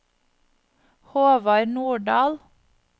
Håvard Nordahl